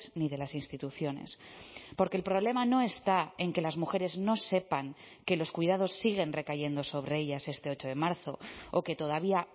ni de las instituciones porque el problema no está en que las mujeres no sepan que los cuidados siguen recayendo sobre ellas este ocho de marzo o que todavía